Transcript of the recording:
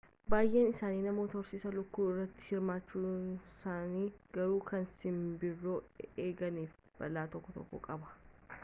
baay'een isaanii namoota horsiisa lukkuu irratti hirmaachisaniiru garuu kan simbirroo eeganiif balaa tokko tokko qaba